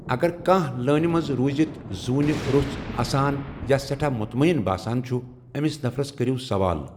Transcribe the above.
اگر کانٛہہ لٲنہِ منز روٗزِتھ ذونہٕ رو٘س اسان یا سیٹھاہ مُتمعین باسان چُھ ، امِس نفرس كرِیو سوالہٕ ۔